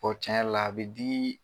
tiɲɛ yɛrɛ l'a be digii